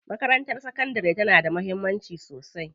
Makarantar sakandari tana da mahimmanci sosai.